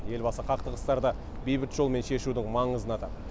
елбасы қақтығыстарды бейбіт жолмен шешудің маңызын атады